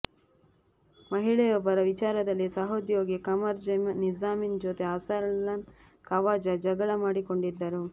ಮಹಿಳೆಯೊಬ್ಬರ ವಿಚಾರದಲ್ಲಿ ಸಹೋದ್ಯೋಗಿ ಕಮರ್ ನಿಜಮ್ದೀನ್ ಜೊತೆ ಅರ್ಸಲನ್ ಖವಾಜಾ ಜಗಳ ಮಾಡಿಕೊಂಡಿದ್ದರು